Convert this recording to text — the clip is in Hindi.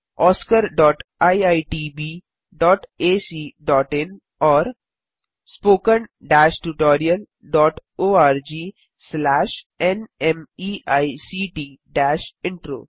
oscariitbacइन और spoken tutorialorgnmeict इंट्रो